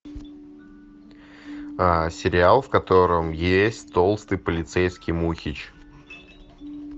сериал в котором есть толстый полицейский мухич